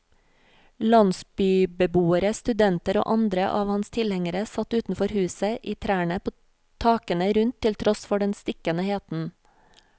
Landsbybeboere, studenter og andre av hans tilhengere satt utenfor huset, i trærne, på takene rundt til tross for den stikkende heten.